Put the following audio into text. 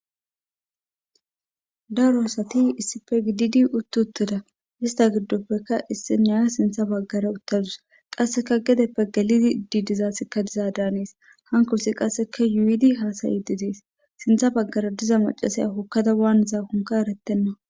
Daro asati issife gididi uttu uttoda ista giddoppekka issi naya sintha baggara uttadus qasseka gedeppe galidi iddidizaassikka diza daanees hanko si qasseka yuidi haasayi didies sintha baggara diza macasaya hokkada waan zaakonka eretenna